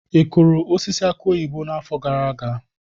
Ị kụrụ osisi aki oyibo n'afọ gara aga?